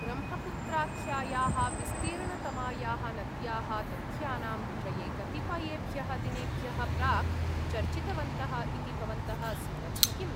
ब्रह्मपुत्राख्यायाः विस्तीर्णतमायाः नद्याः तथ्यानां विषये कतिपयेभ्यः दिनेभ्यः प्राक् चर्चितवन्तः इति भवन्तः स्मरन्ति किम्?